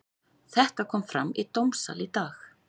Þetta kom fram í dómssal í dag.